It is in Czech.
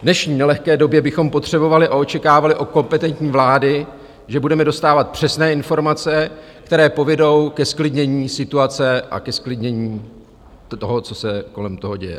V dnešní nelehké době bychom potřebovali a očekávali od kompetentní vlády, že budeme dostávat přesné informace, které povedou ke zklidnění situace a ke zklidnění toho, co se kolem toho děje.